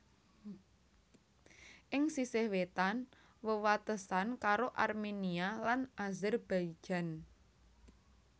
Ing sisih wétan wewatesan karo Armenia lan Azerbaijan